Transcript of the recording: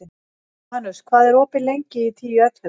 Janus, hvað er opið lengi í Tíu ellefu?